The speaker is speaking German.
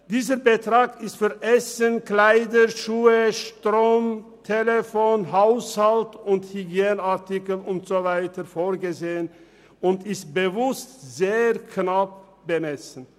Dieser Betrag ist für Essen, Kleider, Schuhe, Strom, Telefon, Haushalt- und Hygieneartikel usw. vorgesehen und ist bewusst sehr knapp bemessen.